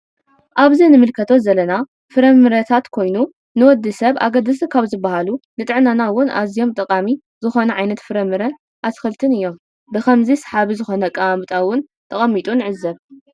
አብዚ እንምልከቶ ዘለና ፍረምረታት ኮይኑ ንወድሰብ አገደስቲ ካብ ዝበሃሉ ንጥዕናና እውን አዚዩ ጠቃሚ ዝኮነ ዓይነት ፍረምረን አትክልትን እዮም ብከመዚ ሰሓቢ ዝኮነ አቀማምጣ እውን ተቀሚጡ ንዕዘብ።